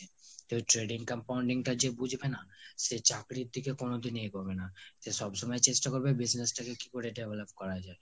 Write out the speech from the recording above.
তো trading compounding টা যে বুজবে না, সে চাকরীরদিকে কোনোদিনই এগুবে না, সে সব সময় চেষ্টা করবে business টাকে কিকরে develop করা যায়